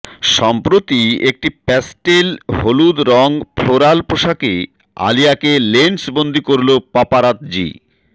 সম্প্রতি একটি প্যাস্টেল হলুদ রং ফ্লোরাল পোশাকে আলিয়াকে লেন্সবন্দি করল পাপারৎজি